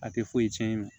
A tɛ foyi cɛn